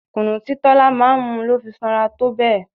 Kunu tí Tola máa ń mu ló fi sanra tó bẹ́ẹ̀.